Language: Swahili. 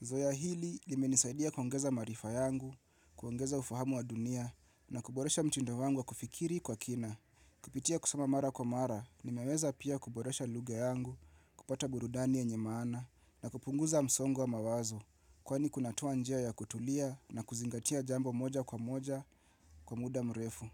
Zowa hili limenisaidia kuongeza maarifa yangu, kuongeza ufahamu wa dunia na kuboresha mtindo wangu wa kufikiri kwa kina. Kupitia kusoma mara kwa mara ni meweza pia kuboresha lugha yangu, kupata burudani yenye maana na kupunguza msongo wa mawazo. Kwani kunatoa njia ya kutulia na kuzingatia jambo moja kwa moja kwa muda mrefu.